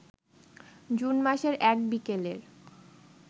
June মাসের এক বিকেলের